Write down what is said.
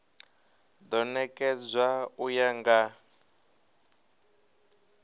do nekedzwa u ya nga